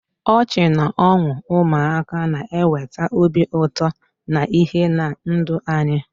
Ọchị na ọṅụ ụmụaka na-eweta obi ụtọ na ìhè na ndụ anyị.